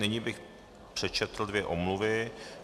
Nyní bych přečetl dvě omluvy.